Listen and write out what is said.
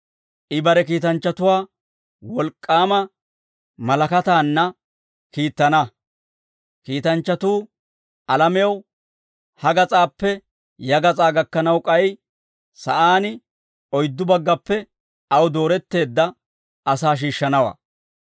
I bare kiitanchchatuwaa wolk'k'aama malakataanna kiittana; kiitanchchatuu alamew ha gas'aappe ya gas'aa gakkanaw, k'ay sa'aan oyddu baggappe aw dooretteedda asaa shiishshanawaa.